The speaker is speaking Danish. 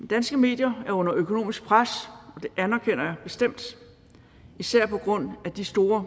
danske medier er under økonomisk pres det anerkender jeg bestemt især på grund af de store